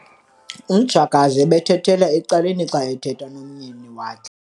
Umtshakazi ebethethela ecaleni xa ethetha nomyeni wakhe.